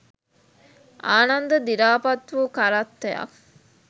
ආනන්ද දිරාපත් වූ කරත්තයක්